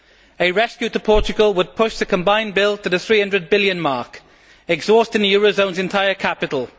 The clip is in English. A rescue of Portugal would push the combined bill to the EUR 300 billion mark, exhausting the eurozone's entire capital.